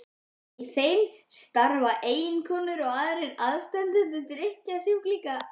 Í þeim starfa eiginkonur og aðrir aðstandendur drykkjusjúklinga.